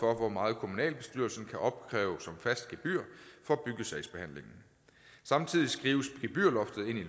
hvor meget kommunalbestyrelsen kan opkræve som fast gebyr for byggesagsbehandlingen samtidig skrives gebyrloftet ind i